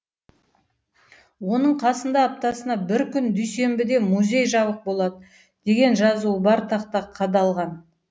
оның қасында аптасына бір күн дүйсенбіде музей жабық болады деген жазуы бар тақта қадалған